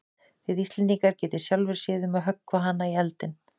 Þið Íslendingar getið sjálfir séð um að höggva hana í eldinn.